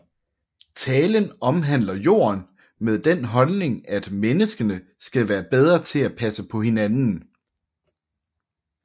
Talen omhandler jorden med den holdning at menneskene skal være bedre til at passe på hinanden